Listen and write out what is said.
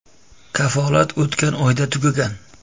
Kafolat o‘tgan oyda tugagan”.